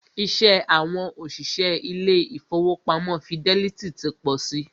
Iṣẹ́ àwọn òṣìṣẹ́ ilé ìfọwọ́pamo Fidelity ti pọ si.